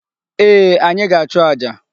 Ee, anyị ga-achụ aja.